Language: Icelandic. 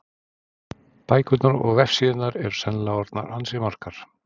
Bækurnar og vefsíðurnar eru sennilega orðnar ansi margar.